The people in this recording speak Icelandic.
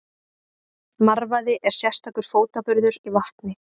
Marvaði er sérstakur fótaburður í vatni.